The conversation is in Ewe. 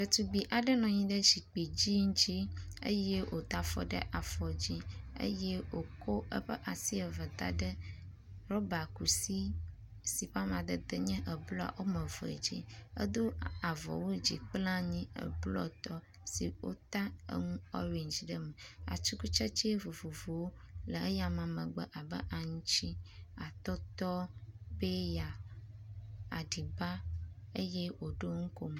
Ɖetugbi aɖe nɔ anyi ɖe zikpui dzɛ̃ ŋuti eye woda afɔ ɖe afɔ dzi eye woko eƒe asi eve da ɖe rɔbakusi si ƒe amadede nye blɔ wome eve dzi. Edo avɔwu dzi kple anyi blɔtɔ si wota eŋu orendzi ɖe eme. Atikutsetse vovovowo le eyame megbe abe aŋuti, atɔtɔ, peya, aɖiba eye woɖo nukomo.